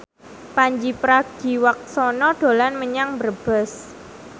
Pandji Pragiwaksono dolan menyang Brebes